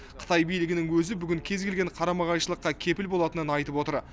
қытай билігінің өзі бүгін кез келген қарама қайшылыққа кепіл болатынын айтып отыр